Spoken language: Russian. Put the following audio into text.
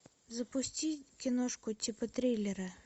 запусти киношку типа триллера